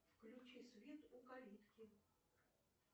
включи свет у калитки